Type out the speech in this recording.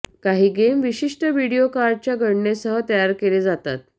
काही गेम विशिष्ट व्हिडिओ कार्डच्या गणनेसह तयार केले जातात